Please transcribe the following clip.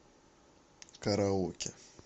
караоке